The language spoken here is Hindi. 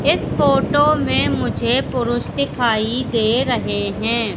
इस फोटो में मुझे पुरुष दिखाई दे रहे हैं।